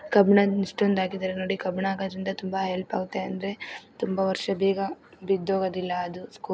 ಕಬ್ಬಿಣ್ಣ ಎಷ್ಟೊಂದು ಹಾಕಿದರೆ ನೋಡಿ ಇಸ್ಟೊದು ಕಬ್ಬಿಣದಿಂದ ತುಂಬಾ ಹೆಲ್ಪ್ ಆಗುತ್ತೆ ಅಂದ್ರೆ ತುಂಬಾ ವರ್ಷ ಬೇಗ ಬಿದ್ದೋಗೋದಿಲ್ಲ ಅದು--